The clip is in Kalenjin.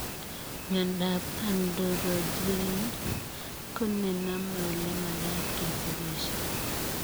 Miondoop andorojen konenamee olemakaat kesigisie